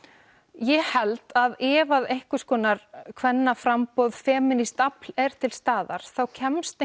ég held að ef einhvers konar kvennaframboð feminískt afl er til staðar þá kemst